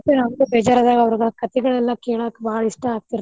ನಮ್ಗು ಬೇಜಾರ ಆದಾಗ ಅವ್ರದ ಕಥೆಗಳೆಲ್ಲ ಕೇಳಾಕ ಬಾಳ ಇಷ್ಟಾ ಆಗ್ತಿರ್ತಾವ್.